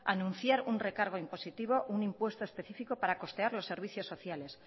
anunciar un recargo impositivo un impuesto específico para costear los servicios sociales